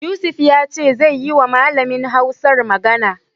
Yusuf ya ce zai yiwa malamin Hausar magana.